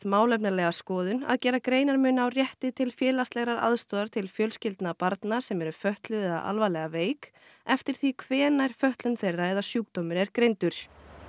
málefnalega skoðun að gera greinarmun á rétti til félagslegrar aðstoðar til fjölskyldna barna sem eru fötluð eða alvarlega veik eftir því hvenær fötlun þeirra eða sjúkdómur er greindur